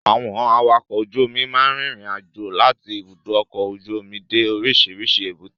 Àwọn Awakọ̀ ojú omi máa ń rin ìrìn àjò láti ibùdó ọkọ ojú omi dé orísìírísìí èbúté.